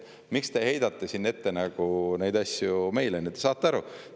Miks te heidate siin neid asju nagu meile ette?